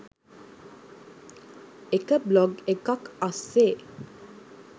එක බ්ලොග් එකක් අස්සේ